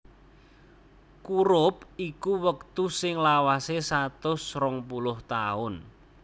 Kurup iku wektu sing lawasé satus rong puluh taun